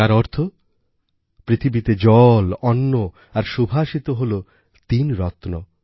যার অর্থ পৃথিবীতে জল অন্ন আর সুভাষিত হলো তিন রত্ন